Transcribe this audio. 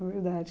Verdade.